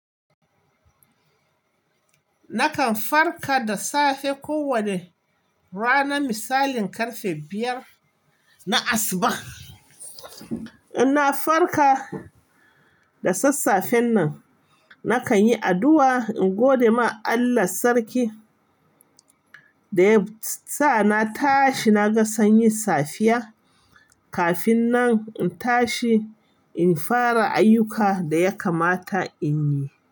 Nakan farka da safe kowanne rana misalin ƙarfe biyar na asuba. In na farka da sassafe nan, nakan yi addu'a, in gode ma Allah Sarki da ya sa na tashi, na ga sanyi safiya. Kafin nan in tashi, in fara ayyuka da ya kamata in yi.